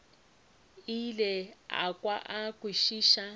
ile a kwa a kwešiša